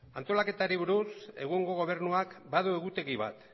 antolaketari buruz egungo gobernuak badu egutegi bat